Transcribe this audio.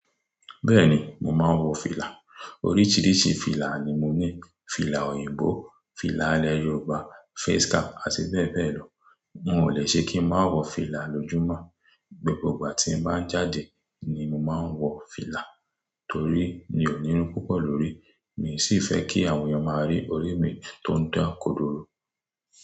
Bẹ́ẹ̀ni, mo máa ń wọ fìlà. Oríṣiríṣi fìlà ni mo ní. Fìlà òyìnbó, fìlà ilẹ̀ Yorùbá, face cap ati bẹẹbẹ lọ. N ò le ṣe kí ń má wọ fìlà lójúmọ́. Gbogbo gba tí mo bá n jáde ni mo máa ń wọ fìlà torí mi ò nírun púpọ̀ lórí. Mi sì fẹ́ kí àwọn ẹyàn máa rí ọ̀ri mi tó ń dán kodoro.